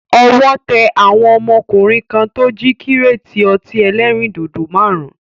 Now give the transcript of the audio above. Owó tẹ àwọn ọmọkùnrin kan tó jí kíréétì ọtí ẹlẹ́rìndòdò máàrún